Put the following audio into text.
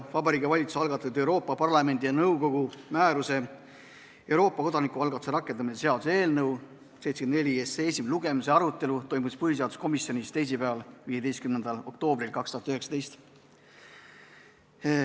Vabariigi Valitsuse algatatud Euroopa Parlamendi ja nõukogu määruse "Euroopa kodanikualgatuse kohta" rakendamine seaduse eelnõu 74 esimese lugemise arutelu toimus põhiseaduskomisjonis teisipäeval, 15. oktoobril 2019.